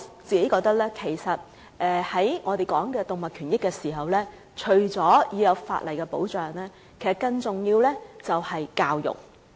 在我們討論動物權益的時候，除了法例保障以外，更重要的是教育。